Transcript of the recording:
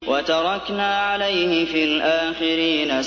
وَتَرَكْنَا عَلَيْهِ فِي الْآخِرِينَ